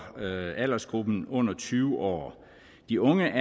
aldersgruppen under tyve år de unge